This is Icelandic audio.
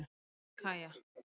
Kaja